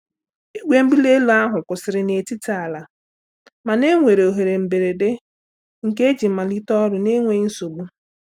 Igwe mbuli elu ahụ kwụsịrị n'etiti ala, mana enwere ohere mberede nke eji mmalite ọrụ n'enweghị nsogbu.